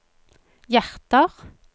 hjerter